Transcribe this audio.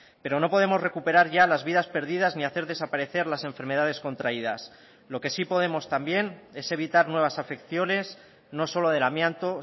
pero no podemos recuperar ya las vidas perdidas ni hacer desaparecer las enfermedades contraídas lo que sí podemos también es evitar nuevas afecciones no solo del amianto